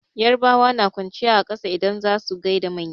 Yarabawa na kwanciya a ƙasa idan za su gaida manya.